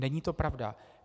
Není to pravda.